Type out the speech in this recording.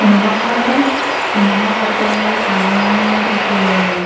cinema hall है cinema hall के सामने में एक--